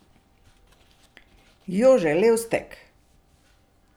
Jože Levstek!